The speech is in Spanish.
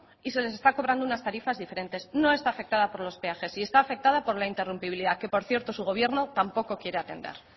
y se les está cobrando unas tarifas diferentes no está afectada por los peajes está afectada por la interrumpibilidad que por cierto su gobierno tampoco quiere atender